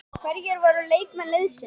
Hverjir voru leikmenn liðsins?